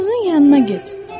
Maşının yanına get.